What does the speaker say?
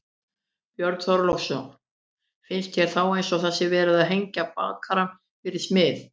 Björn Þorláksson: Finnst þér þá eins og það sé verið að hengja bakara fyrir smið?